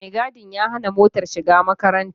Mai gadin ya hana motar shiga makarantar.